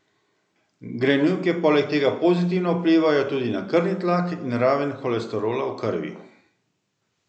Grenivke poleg tega pozitivno vplivajo tudi na krvni tlak in raven holesterola v krvi.